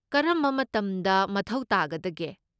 ꯀꯔꯝꯕ ꯃꯇꯝꯗ ꯃꯊꯧ ꯇꯥꯒꯗꯒꯦ?